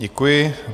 Děkuji.